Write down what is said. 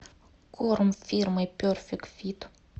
корм фирмы перфект фит